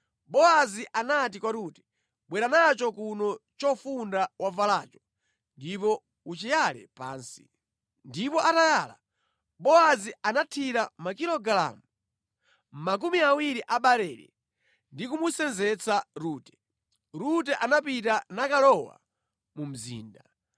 Bowazi anati kwa Rute, “Bwera nacho kuno chofunda wavalacho ndipo uchiyale pansi.” Ndipo atayala, Bowazi anathira makilogalamu makumi awiri a barele ndi kumusenzetsa Rute. Rute anapita nakalowa mu mzinda.